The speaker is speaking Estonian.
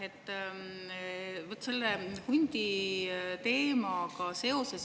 Aitäh!